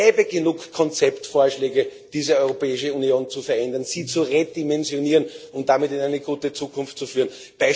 Es gäbe genug Konzeptvorschläge, diese Europäische Union zu verändern, sie zu redimensionieren und damit in eine gute Zukunft zu führen.